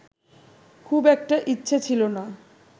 খুব একটা ইচ্ছে ছিল না